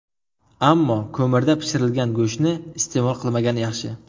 Ammo ko‘mirda pishirilgan go‘shtni iste’mol qilmagan yaxshi.